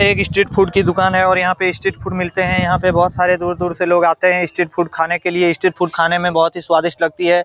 ये एक street food की दुकान है और यहाँ पर स्ट्रेट फ़ूड मिलते है यहाँ पर बहुत दूर-दूर से लोग आते है स्ट्रेट फ़ूड खाने के लिए | स्ट्रेट फ़ूड खाने मे बहुत ही स्वादिष्ट लगते है।